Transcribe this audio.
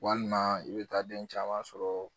Walima i bɛ taa den caman sɔrɔ